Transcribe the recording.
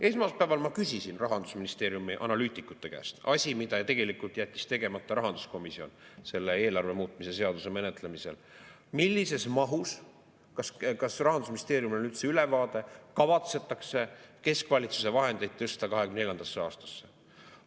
Esmaspäeval ma küsisin Rahandusministeeriumi analüütikute käest – asi, mille tegelikult jättis tegemata rahanduskomisjon selle eelarve muutmise seaduse menetlemisel –, kas Rahandusministeeriumil on üldse ülevaade, millises mahus kavatsetakse keskvalitsuse vahendeid tõsta 2024. aastasse.